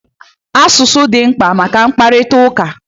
Asụsụ dị mkpa maka mkparịtaụka